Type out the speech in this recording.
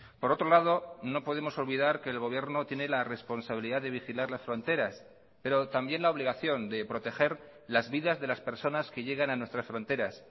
por otro lado no podemos olvidar que el gobierno tiene la responsabilidad de vigilar las fronteras pero también la obligación de proteger las vidas de las personas que llegan a nuestras fronteras